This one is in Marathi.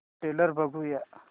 ट्रेलर बघूया